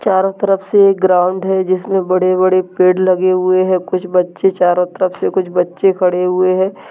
चारों तरफ से एक ग्राउन्ड है जिसमें बड़े-बड़े पेड़ लगे हुए है कुछ बच्चे चारों तरफ से कुछ बच्चे खड़े हुए है ।